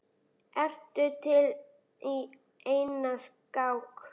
Ertu til í eina skák?